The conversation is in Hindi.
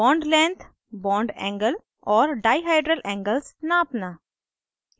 * bond lengths bond angles और डाइहाइड्रल angles नापना